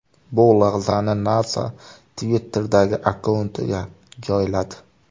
Bu lahzani NASA Twitter’dagi akkauntiga joyladi .